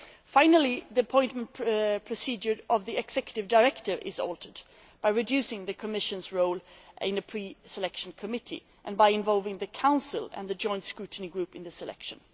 Finally, the procedure for appointing the Executive Director is altered by reducing the Commission's role in a pre selection committee and by involving the Council and the Joint Scrutiny Group in the selection.